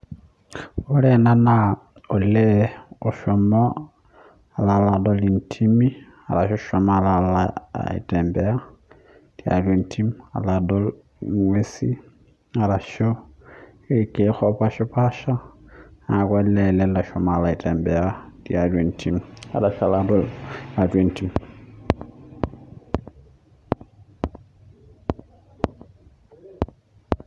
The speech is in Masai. ore ena naa olee oshomo alo alaadol intimi eshomo alo aitembea itatua entim alo alaadol inguesi arashu irkeek opaashipaasha niaku olee loshomo aitembea tiatua entim netashala tiatua entim